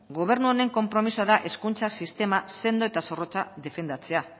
gobernu honen konpromisoa da hezkuntza sistema sendo eta zorrotza defendatzea